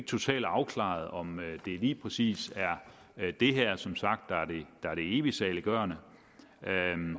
totalt afklaret om det lige præcis er det her der som sagt er det evigt saliggørende